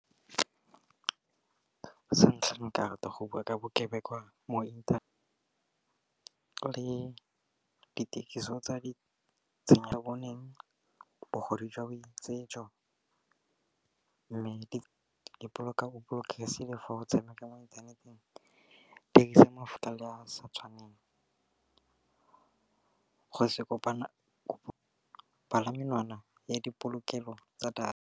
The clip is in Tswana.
Sa ntlha karata go bua ka bokebekwa mo inthanete le dithekiso tsa di tshenyegelo, bogodu jwa boitsejo mme di dipoloko o bolokesegile go tshameka mo inthaneteng. Dirisa a sa tshwaneng, go se kopana ya dipolokelo tsa data.